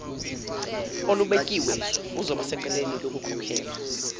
olubekiwe uzobasecaleni lokukhokhela